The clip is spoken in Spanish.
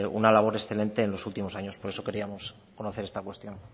una labor excelente en los últimos años por eso queríamos conocer esta cuestión